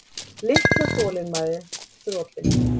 Litla þolinmæðin þrotin.